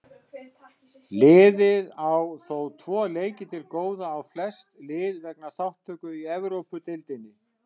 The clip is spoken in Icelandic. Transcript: Liðið á þó tvo leiki til góða á flest lið vegna þátttöku í Evrópudeildinni.